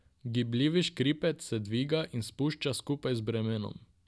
Gibljivi škripec se dviga in spušča skupaj z bremenom.